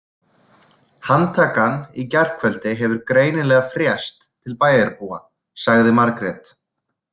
Handtakan í gærkvöld hefur greinilega frést til bæjarbúa, sagði Margrét.